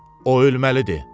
O ölməlidir!